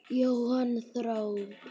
Jóhann: Þrjár?